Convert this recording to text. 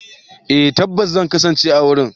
Eh tabbas zan kasance a wurin.